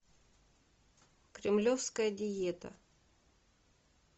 кремлевская диета